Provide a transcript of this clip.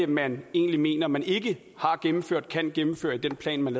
man egentlig mener man ikke har gennemført eller kan gennemføre i den plan man